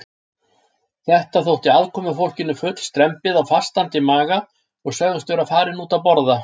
Þetta þótti aðkomufólkinu full strembið á fastandi maga og sögðust vera farin út að borða.